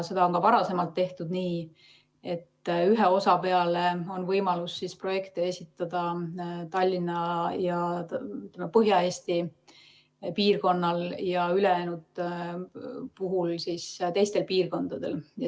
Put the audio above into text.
Seda on ka varem tehtud, nii et ühe osa peale on võimalik projekte esitada Tallinnal ja Põhja-Eesti piirkonnal ja ülejäänute peale teistel piirkondadel.